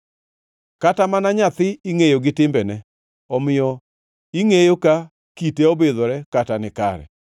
Kata mana nyathi ingʼeyo gi timbene, omiyo ingʼeyo ka kite obidhore kata ni kare.